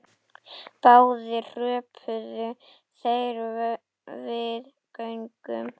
Báðir hröpuðu þeir við göngu.